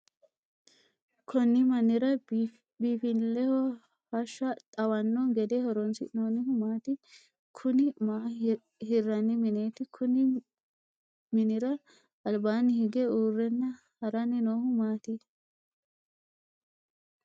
Konni mannira biinfileho hasha xawanno gede horoonsi'noonnihu maati? Kunni maa hiranni mineeti? Kunni minira albaanni hige uurenna haranni noohu maati?